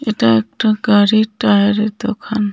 এটা একটা গাড়ির টায়ারের দোকান.